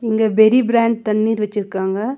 இங்க பெரி பிராண்ட் தண்ணீர் வச்சுருக்காங்க.